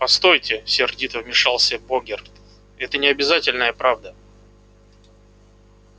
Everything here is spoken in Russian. постойте сердито вмешался богерт это не обязательно правда